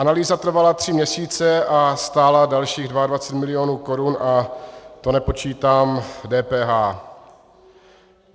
Analýza trvala tři měsíce a stála dalších 22 mil. korun a to nepočítám DPH.